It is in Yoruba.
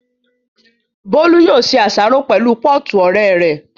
Bólú yóò ṣe àsáró pẹ̀lú pọ́ọ̀tù ọ̀rẹ́ rẹ̀